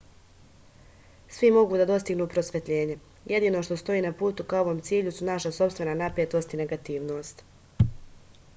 svi mogu da dostignu prosvetljenje jedino što stoji na putu ka ovom cilju su naša sopstvena napetost i negativnost